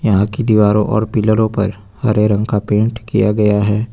यहां की दीवारो और पिलरो पर हरे रंग का पेंट किया गया है।